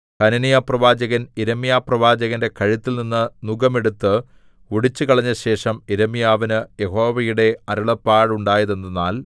ഹനന്യാപ്രവാചകൻ യിരെമ്യാപ്രവാചകന്റെ കഴുത്തിൽനിന്ന് നുകം എടുത്ത് ഒടിച്ചുകളഞ്ഞശേഷം യിരെമ്യാവിന് യഹോവയുടെ അരുളപ്പാടുണ്ടായതെന്തെന്നാൽ